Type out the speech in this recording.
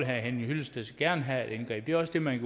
herre henning hyllested gerne have et indgreb det er også det man